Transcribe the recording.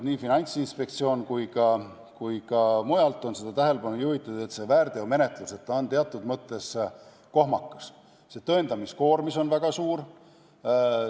Nii Finantsinspektsioon on juhtinud tähelepanu kui ka mujalt on tähelepanu juhitud, et väärteomenetlus on teatud mõttes kohmakas, tõendamiskoormus on väga suur.